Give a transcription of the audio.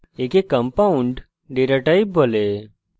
একে compound data type বলা হয়